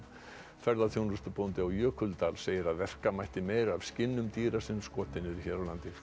ferðaþjónustubóndi á Jökuldal segir að verka mætti meira af skinnum dýra sem skotin eru hér